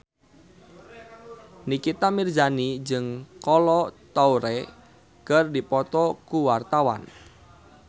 Nikita Mirzani jeung Kolo Taure keur dipoto ku wartawan